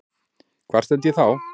Hvar stend ég þá?